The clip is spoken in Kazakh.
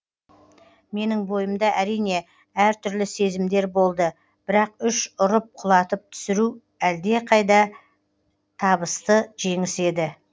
менің бойымда әрине әр түрлі сезімдер болды бірақ үш ұрып құлатып түсіру әлде қайда табысты жеңіс еді